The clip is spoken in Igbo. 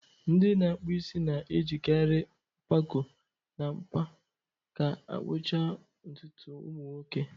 Ndị na-akpụ isi na-ejikarị mkpakọ na mkpa ka akpụcha ntutu ụmụ nwoke.